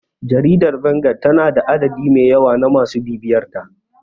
Jaridar Vanguard tana da adadi mai yawa na masu bibiyarta.